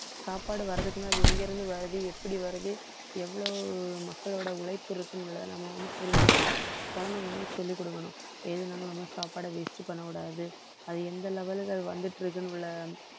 சாப்பாடு வர்றதுக்கு முன்னாடி அது எங்கிருந்து வருது எப்படி வருது எவ்வளவு மக்களோட உழைப்பு இருக்குங்கிறதை நம்ம வந்து புரிஞ்சுக்கணும், குழந்தைங்களுக்கு சொல்லிக் கொடுக்கணும், எதுன்னாலும் நம்ம சாப்பாடை waste பண்ணக் கூடாது அது எந்த level க்கு அது வந்துட்டு இருக்குன்னு உள்ள